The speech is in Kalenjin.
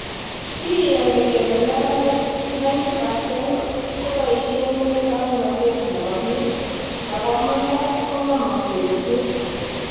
Kiyono kele neranik 90% koboishen musoknotet nebo bik, ako amune kogemosek kosir